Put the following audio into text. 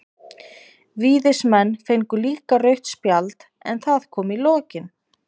Víðismenn fengu líka rautt spjald, en það kom í lokin.